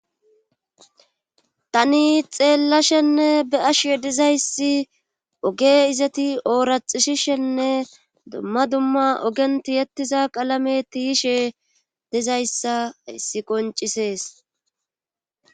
tani xeellashenne be ashyedizayssi oge izeti ooraxishishenne dumma dumma ogenti yettiza qalame tiyishe dizayssa issi qoncisees